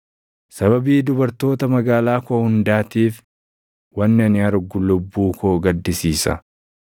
Sababii dubartoota magaalaa koo hundaatiif wanni ani argu lubbuu koo gaddisiisa.